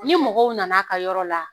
Ni mɔgɔw nana ka yɔrɔ la